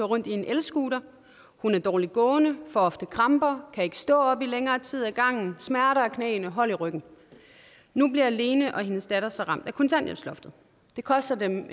rundt i en elscooter hun er dårligt gående får ofte kramper kan ikke stå op i længere tid ad gangen og har smerter i knæene og hold i ryggen nu bliver lene og hendes datter så ramt af kontanthjælpsloftet det koster dem